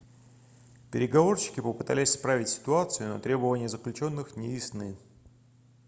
переговорщики попытались исправить ситуацию но требования заключённых не ясны